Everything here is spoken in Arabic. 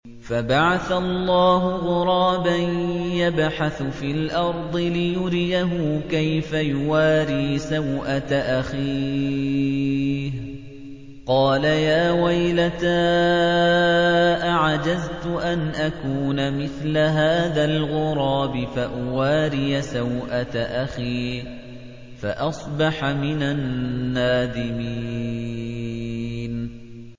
فَبَعَثَ اللَّهُ غُرَابًا يَبْحَثُ فِي الْأَرْضِ لِيُرِيَهُ كَيْفَ يُوَارِي سَوْءَةَ أَخِيهِ ۚ قَالَ يَا وَيْلَتَا أَعَجَزْتُ أَنْ أَكُونَ مِثْلَ هَٰذَا الْغُرَابِ فَأُوَارِيَ سَوْءَةَ أَخِي ۖ فَأَصْبَحَ مِنَ النَّادِمِينَ